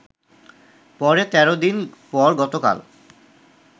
পরে ১৩ দিন পর গতকাল